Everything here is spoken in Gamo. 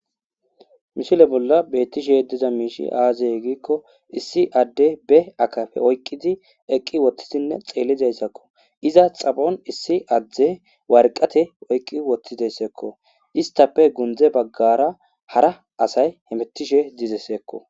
Mishile bolla beettishe diza miishi aaziye giikko issi adde be akafe oyqqizi eqqi wottisinne xeellizayssakko iza xabon issi adde warqate oyqqi wottizeyssekko istappe gundze baggara hara asay hemittishe dizesseekko